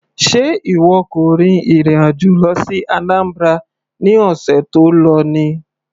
Sé ìwọ kò rin ìrìn àjò lọ sí Anambra ní ọ̀sẹ̀ tó lọ ni.